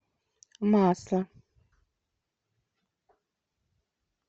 масло